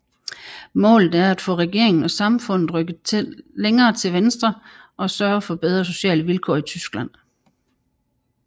Målet er at få regeringen og samfundet rykket længere til venstre og sørge for bedre sociale vilkår i Tyskland